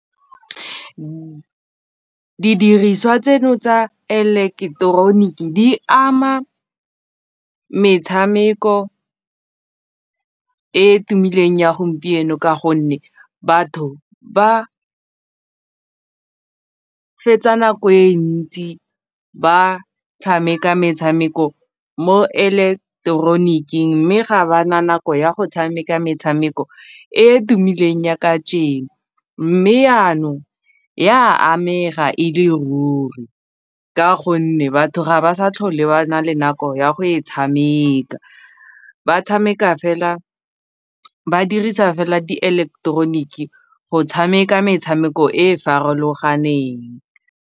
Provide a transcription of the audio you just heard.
Didiriswa tseno tsa eleketeroniki di ama metshameko e tumileng ya gompieno ka gonne batho ba fetsa nako e ntsi ba tshameka metshameko mo eleketeroniking mme ga ba na nako ya go tshameka metshameko e e tumileng ya kajeno mme yanong e a amega e le ruri ka gonne batho ga ba sa tlhole ba na le nako ya go e tshameka ba tshameka fela, ba dirisa fela di eleketeroniki go tshameka metshameko e e farologaneng.